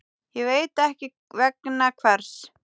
Ég veit ekki vegna hvers.